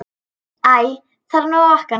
Æ þarf nú að vakna.